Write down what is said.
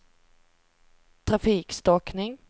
trafikstockning